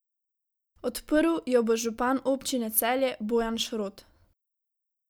Odprl jo bo župan občine Celje Bojan Šrot.